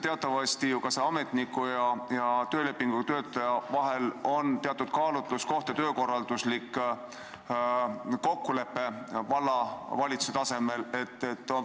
Teatavasti on ka ametniku ja töölepinguga töötaja puhul teatud kaalutluskoht ja see on töökorralduslik kokkulepe vallavalitsuse tasemel.